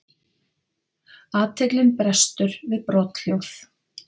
Athyglin brestur við brothljóð.